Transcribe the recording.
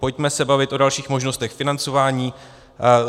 Pojďme se bavit o dalších možnostech financování.